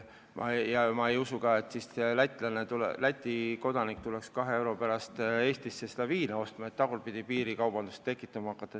Ma ei usu, et Läti rahvas tuleks siis 2 euro pärast Eestisse viina ostma, et tekiks tagurpidi piirikaubandus.